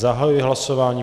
Zahajuji hlasování.